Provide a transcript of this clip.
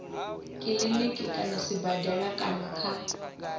kiliniki kana sibadela kana kha